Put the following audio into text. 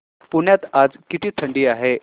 पुण्यात आज किती थंडी आहे